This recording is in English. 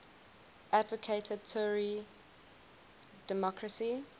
advocated tory democracy